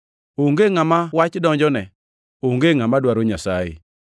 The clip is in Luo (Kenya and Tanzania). Onge ngʼama wach donjone, onge ngʼama dwaro Nyasaye.